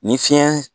Ni fiɲɛ